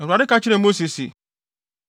Awurade ka kyerɛɛ Mose se,